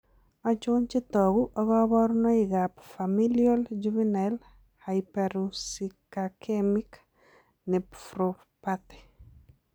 Achon chetogu ak kaborunoik ab Familial juvenile hyperuricaecemic nephropathy?